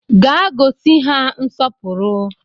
Gaa gosi ha nsọpụrụ!